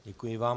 Děkuji vám.